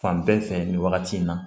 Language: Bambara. Fan bɛɛ fɛ nin wagati in na